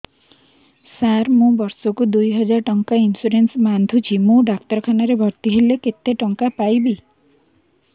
ସାର ମୁ ବର୍ଷ କୁ ଦୁଇ ହଜାର ଟଙ୍କା ଇନ୍ସୁରେନ୍ସ ବାନ୍ଧୁଛି ମୁ ଡାକ୍ତରଖାନା ରେ ଭର୍ତ୍ତିହେଲେ କେତେଟଙ୍କା ପାଇବି